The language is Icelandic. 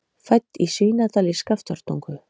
Fædd í Svínadal í Skaftártungu.